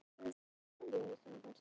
Kreisti fingurna utan um glerbrotið.